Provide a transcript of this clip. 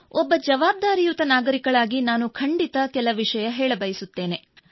ಒಬ್ಬ ಜವಾಬ್ದಾರಿಯುತ ನಾಗರಿಕಳಾಗಿ ನಾನು ಖಂಡಿತ ಕೆಲ ವಿಷಯ ಹೇಳಬಯಸುತ್ತೇನೆ